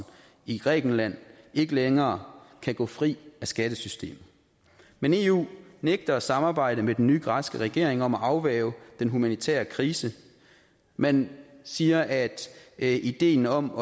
i grækenland ikke længere kan gå fri af skattesystemet men eu nægter at samarbejde med den nye græske regering om at afværge den humanitære krise man siger at at ideen om